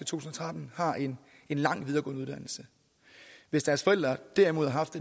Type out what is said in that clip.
tusind og tretten har en en lang videregående uddannelse hvis deres forældre derimod har haft